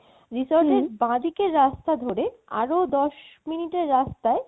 হম resort এর বা দিকের রাস্তা ধরে আরো দশ minute এর রাস্তায়